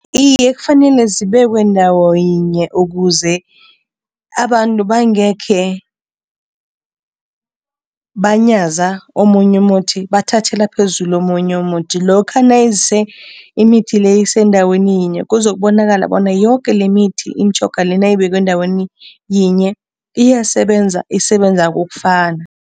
Iye, kufanele zibekwe ndawo yinye ukuze abantu bangekhe banyaza omunye umuthi, bathathela phezulu omunye umuthi. Lokha nayise imithi le isendaweni yinye kuzokubonakala bona yoke lemithi imitjhoga le nayibekwe endaweni yinye iyasebenza, isebenza kokufana.